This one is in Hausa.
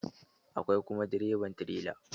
Akwai kuma direban tirela.